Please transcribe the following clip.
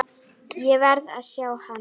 Ég verð að sjá hann.